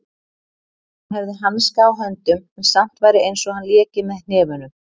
Hann hefði hanska á höndum en samt væri einsog hann léki með hnefunum.